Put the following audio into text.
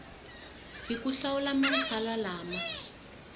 hi ku hlawula matsalwa lama